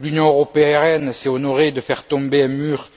L'Union européenne s'est honorée de faire tomber un mur